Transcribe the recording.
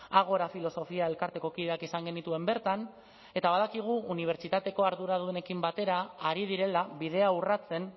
ágora filosofia elkarteko kideak izan genituen bertan eta badakigu unibertsitateko arduradunekin batera ari direla bidea urratzen